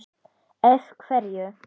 Ef. Freyju